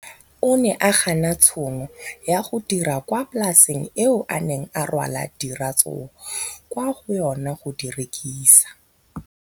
O ne a gana tšhono ya go dira kwa polaseng eo a neng rwala diratsuru kwa go yona go di rekisa.